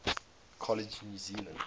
college new zealand